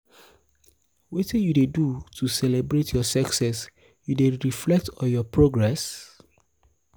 wetin you dey do to celebrate your success you dey reflect on your progress?